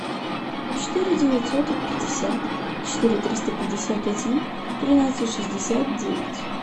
четыре девятьсот пятьдесят четыре триста пятьдесят один тринадцать шестьдесят девять